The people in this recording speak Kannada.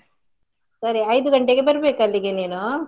ಸರಿ ಐದು ಗಂಟೆಗೆ ಬರ್ಬೇಕು ಅಲ್ಲಿಗೆ ನೀನು.